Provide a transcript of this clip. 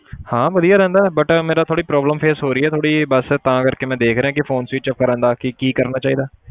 ਹਾਂ ਵਧੀਆ ਰਹਿੰਦਾ but ਮੇਰਾ ਥੋੜ੍ਹੀ problem face ਹੋ ਰਹੀ ਹੈ ਥੋੜ੍ਹੀ ਜਿਹੀ ਬਸ ਤਾਂ ਕਰਕੇ ਮੈਂ ਦੇਖ ਰਿਹਾਂ ਕਿ phone switch ਕਰਨ ਦਾ ਕੀ ਕੀ ਕਰਨਾ ਚਾਹੀਦਾ।